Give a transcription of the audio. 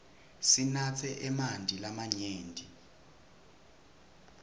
sinatse emanti lamanyenti